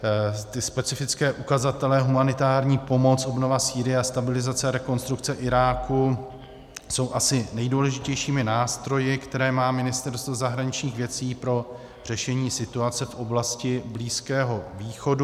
Ty specifické ukazatele humanitární pomoc, obnova Sýrie a stabilizace a rekonstrukce Iráku jsou asi nejdůležitějšími nástroji, které má Ministerstvo zahraničních věcí pro řešení situace v oblasti Blízkého východu.